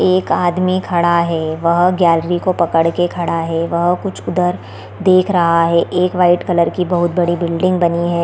एक आदमी खड़ा है वह गैलरी को पकड़ के खड़ा है वह कुछ उधर देख रहा है एक वाइट कलर की बहोत बड़ी बिल्डिंग बनी है।